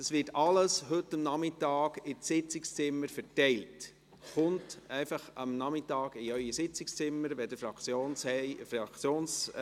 Das wird alles heute Nachmittag in den Sitzungszimmern verteilt werden.